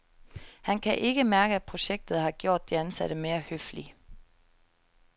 Han kan ikke mærke, at projektet har gjort de ansatte mere høflige.